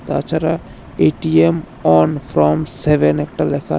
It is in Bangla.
তাছাড়া এ_টি_এম অন ফ্রম সেভেন একটা লেখা।